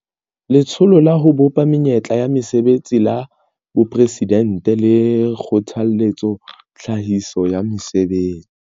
Letsholo la ho Bopa Menyetla ya Mesebetsi la Boporesidente le kgothaletsa tlhahiso ya mesebetsi.